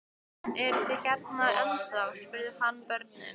Eruð þið hérna ennþá? spurði hann börnin.